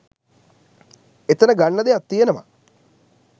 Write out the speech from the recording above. එතන ගන්න දෙයක් තියනවා